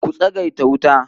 Ku tsagaita wuta.